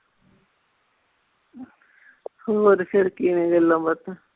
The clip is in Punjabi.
ਹੋਰ ਫੇਰ ਕਿਵੇਂ ਗੱਲਾਂ ਬਾਤਾਂ।